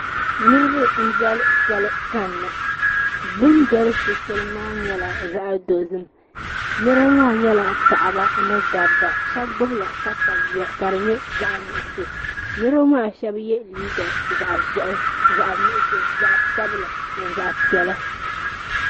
Niriba n doli soli kani na bini doli so shɛli maa nyɛla zaɣi dozim niriba maa paɣaba ni dabba shɛba gbubi la katayua ka di nyɛ zaɣi nuɣiso niriba maa shɛba ye liiga zaɣi zɛhi zaɣi nuɣiso zaɣi sabila ni zaɣi piɛlla.